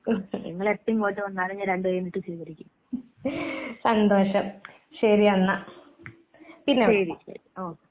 സന്തോഷം. ശരിയന്നാ. പിന്നെ വിളിക്കാം.